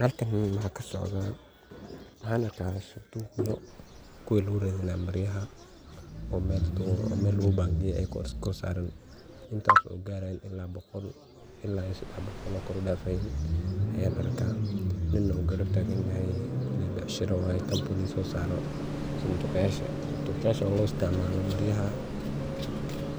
Halkani maxa kasocda ,waxan arka sanduq yar oo kuwi maryaha lagu bangeynaye oo mel lagu bangeye oo iskorsaran. Kuwaso garayan boqol ila sedex boqol oo kor u dafayan ayan arka ninna uu garab tagan yahay mel becsharo waye ,sanduqyasha oo lo isticmalo maryaha